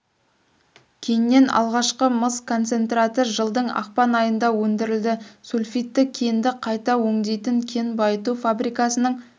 кеннен алғашқы мыс концентраты жылдың ақпан айында өндірілді сульфидті кенді қайта өңдейтін кен байыту фабрикасының